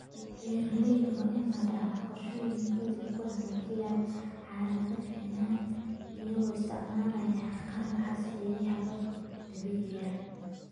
Beeralayda waa inay lahaadaan qorshooyin ay ku hagaajinayaan xaaladda finan iyagoo isticmaalaya qalab casri ah iyo hababka dabiiciga ah.